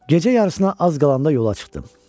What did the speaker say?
Gecə yarısına az qalanda yola çıxdım.